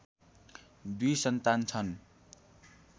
दुई सन्तान छन्